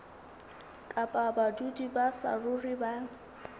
kapa badudi ba saruri ba